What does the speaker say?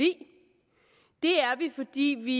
det er vi fordi vi